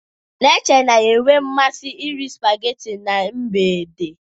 Neche na-enwe mmasị iri sipageti na mgbede.